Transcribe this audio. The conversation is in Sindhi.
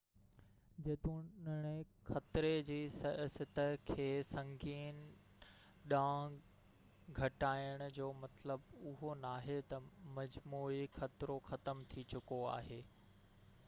جيتوڻيڪ خطري جي سطح کي سنگين ڏانهن گهٽائڻ جو مطلب اهو ناهي ته مجموعي خطرو ختم ٿي چڪو آهي